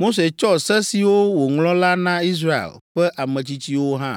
Mose tsɔ se siwo wòŋlɔ la na Israel ƒe ametsitsiwo hã.